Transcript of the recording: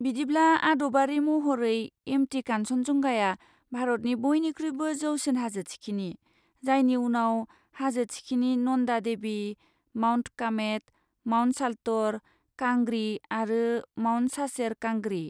बिदिब्ला, आदबारि महरै, एम. टि. कान्चनजंगाआ भारतनि बइनिख्रुइबो जौसिन हाजो थिखिनि, जायनि उनाव हाजो थिखिनि नन्दा देबि, माउन्ट कामेट, माउन्ट साल्ट'र' कांग्रि आरो माउन्ट सासेर कांगड़ी।